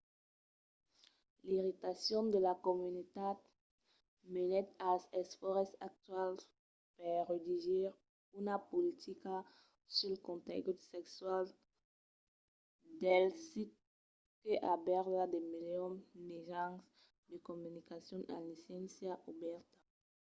l'irritacion de la comunitat menèt als esfòrces actuals per redigir una politica sul contengut sexual del sit que albèrga de milions de mejans de comunicacion en licéncia obèrta